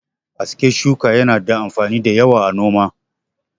Aske shuka yana da amfani da yawa a noma.